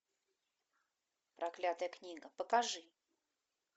проклятая книга покажи